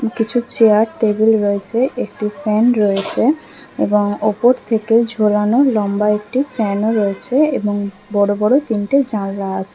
কিছু chair table রয়েছে একটি ফ্যান রয়েছে এবং ওপর থেকে ঝোলানো লম্বা একটি ফ্যান ও রয়েছে এবং বড়ো বড়ো তিনটি জানলা আছে ।